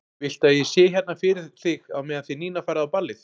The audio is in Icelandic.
Viltu að ég sé hérna fyrir þig á meðan þið Nína farið á ballið?